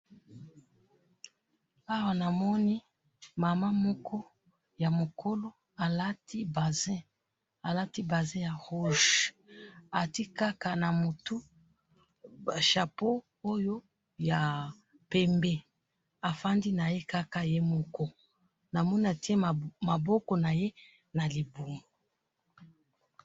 awa namoni mama moko ya mukolo alati bazin, alati bazin ya rouge atiye kaka na moutou chapeau oyo ya pembe afandi naye moko namoni atiye maboko naye na liboumou